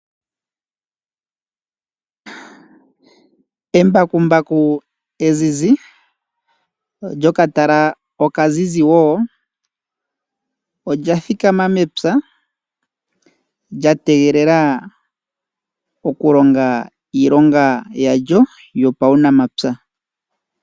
Embakumbaku e zizi lyokatala okazizi wo olya thikama mepya lya tegelela okulonga iilonga yalyo yopaunamapya.